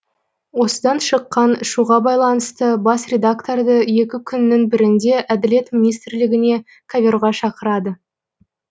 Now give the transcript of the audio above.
осыдан шыққан шуға байланысты бас редакторды екі күннің бірінде әділет министрлігіне коверға шақырады